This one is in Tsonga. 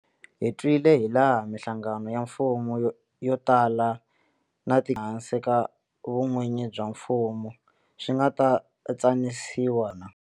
Hi twile hilaha mihlangano ya mfumo yo tala na tikhamphani leti nga ehansi ka vun'wini bya mfumo swi nga tsanisiwa hi vomu hakona.